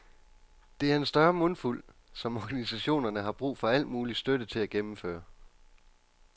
Det er en større mundfuld, som organisationerne har brug for al mulig støtte til at gennemføre.